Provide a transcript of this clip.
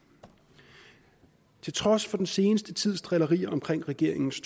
til trods for den seneste tids drillerier omkring regeringens